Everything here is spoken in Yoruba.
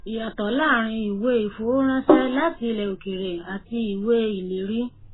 ìyàtọ láàárín ìwé ìfowóránṣẹ láti ilẹ òkèèrè àti ìwé ìlérí